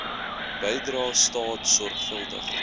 bydrae staat sorgvuldig